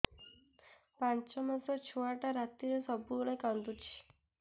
ପାଞ୍ଚ ମାସ ଛୁଆଟା ରାତିରେ ସବୁବେଳେ କାନ୍ଦୁଚି